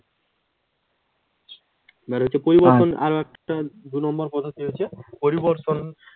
মানে হচ্ছে পরিবর্তন আরেকটা দু'নম্বর পদ্ধতি হচ্ছে পরিবর্তন।